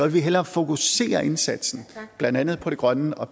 vil hellere fokusere indsatsen blandt andet på det grønne og